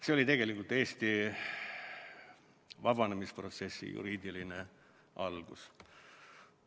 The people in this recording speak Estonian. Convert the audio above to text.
See oli tegelikult Eesti vabanemisprotsessi juriidiline algus.